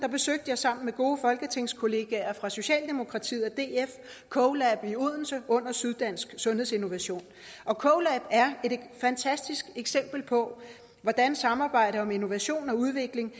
besøgte jeg sammen med gode folketingskollegaer fra socialdemokratiet og df colab i odense under syddansk sundhedsinnovation colab er et fantastisk eksempel på hvordan samarbejde om innovation og udvikling